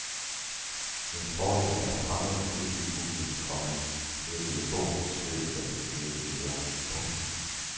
Det er en fordel at være fremmed og delvist uvidende, komma hedder det i bogens beskrivelse af den ideelle leder. punktum